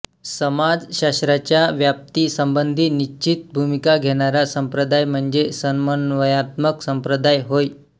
समाजशास्त्राच्या व्याप्ती संबंधी निष्चित भूमिका घेणारा संप्रदाय म्हणजे समन्वयात्मक संप्रदाय होय